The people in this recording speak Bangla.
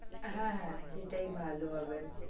হ্যা হ্যা সেটাই ভালো হবে